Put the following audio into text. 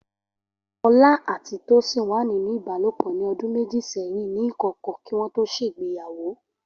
Ola àti Tosin wà nínú ìbálòpọ̀ ní ọdún méjì sẹ́yìn ní ìkọ̀kọ̀, kí wọ́n tó ṣègbéyàwó.